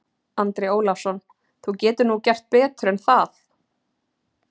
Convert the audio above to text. Andri Ólafsson: Þú getur nú gert betur en það?